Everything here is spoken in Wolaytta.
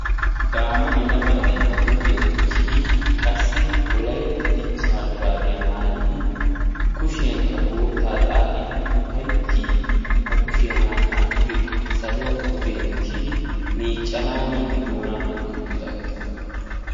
daama yelaga na'ay baa huuphiya dichidi wolaytta dichha shuraabiya maayidi kushiyankka boottaa xaaxidi ufayttiidi ba kushiya pude saaluwakko dentidi doonaa hangi uttidaagaa.